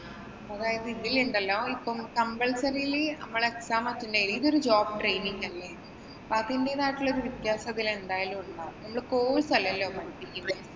അതായത്, ഇതിലുണ്ടല്ലോ ഇപ്പം complsurily നമ്മള് exam attend . ഇത് ഒരു job training അല്ലേ. അപ്പൊ അതിന്‍റേതായിട്ടുള്ളൊരു വ്യത്യാസം ഇതില്‍ എന്തായാലും ഉണ്ടാകും. നമ്മള് course അല്ലല്ലോ പഠിപ്പിക്കുന്നെ.